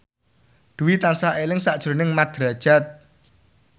Dwi tansah eling sakjroning Mat Drajat